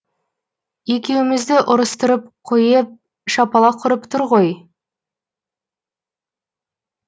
екеумізді ұрыстырып қойееп шапалақ ұрып тұр ғой